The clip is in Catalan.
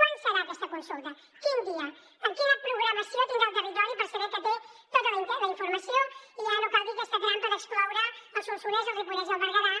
quan serà aquesta consulta quin dia quina programació tindrà el territori per saber que té tota la informació i ja no cal dir aquesta trampa d’excloure’n el solsonès el ripollès i el berguedà